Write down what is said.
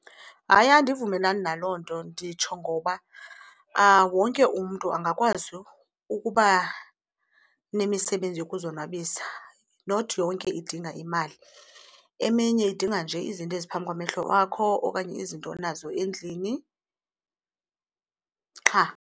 Hayi, andivumelani naloo nto. Nditsho ngoba wonke umntu angakwazi ukuba nemisebenzi yokuzonwabisa, not yonke idinga imali. Eminye idinga nje izinto eziphambi kwamehlo wakho okanye izinto onazo endlini qha.